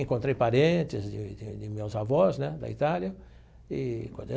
Encontrei parentes de de de meus avós né da Itália e.